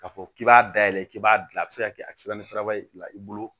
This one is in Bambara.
K'a fɔ k'i b'a dayɛlɛ k'i b'a dilan a bɛ se ka kɛ a bɛ se ka ni siraba fila i bolo